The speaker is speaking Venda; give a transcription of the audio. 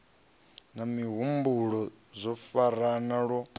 na mihumbulo zwo farana lwo